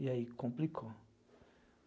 E aí complicou.